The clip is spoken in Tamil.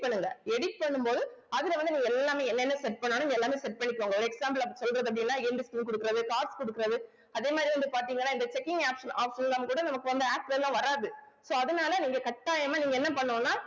பண்ணுங்க edit பண்ணும்போது அதுல வந்து நீங்க எல்லாமே என்னென்ன set பண்ணாலும் எல்லாமே set பண்ணிக்கோங்க example அப்படி சொல்றது அப்படின்னா குடுக்குறது cards குடுக்குறது அதே மாதிரி வந்து பாத்தீங்கன்னா இந்த checking option~ option லாம் கூட நமக்கு வந்து adds ல எல்லாம் வராது so அதனால நீங்க கட்டாயமா நீங்க என்ன பண்ணனும்னா